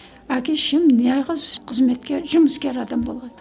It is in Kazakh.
әке шешем нағыз қызметкер жұмыскер адам болған